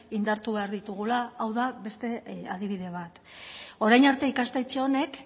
indartu behar ditugula hau da beste adibide bat orain arte ikastetxe honek